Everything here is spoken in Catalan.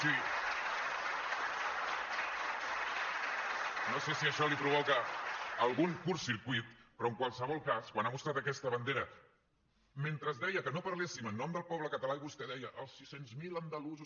no sé si això li provoca algun curtcircuit però en qualsevol cas quan ha mostrat aquesta bandera mentre deia que no parléssim en nom del poble català i vostè deia els sis cents miler andalusos